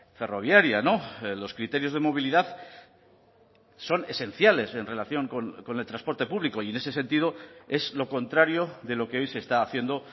ferroviaria los criterios de movilidad son esenciales en relación con el transporte público y en ese sentido es lo contrario de lo que hoy se está haciendo